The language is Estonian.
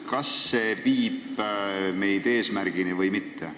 Kas see viib meid eesmärgile või mitte?